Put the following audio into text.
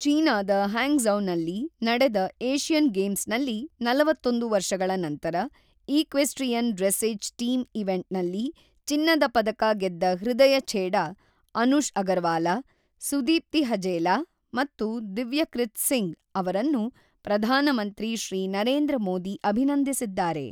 ಚೀನಾದ ಹ್ಯಾಂಗ್ಝೌನಲ್ಲಿ ನಡೆದ ಏಷ್ಯನ್ ಗೇಮ್ಸ್ ನಲ್ಲಿ ನಲವತ್ತೊಂದು ವರ್ಷಗಳ ನಂತರ ಈಕ್ವೆಸ್ಟ್ರಿಯನ್ ಡ್ರೆಸ್ಸೇಜ್ ಟೀಮ್ ಈವೆಂಟ್ ನಲ್ಲಿ ಚಿನ್ನದ ಪದಕ ಗೆದ್ದ ಹೃದಯ ಛೇಡಾ, ಅನುಷ್ ಅಗರ್ವಾಲಾ, ಸುದೀಪ್ತಿ ಹಜೇಲಾ ಮತ್ತು ದಿವ್ಯಕ್ರಿತ್ ಸಿಂಗ್ ಅವರನ್ನು ಪ್ರಧಾನಮಂತ್ರಿ ಶ್ರೀ ನರೇಂದ್ರ ಮೋದಿ ಅಭಿನಂದಿಸಿದ್ದಾರೆ.